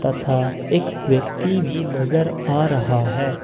था एक व्यक्ति भी नजर आ रहा है।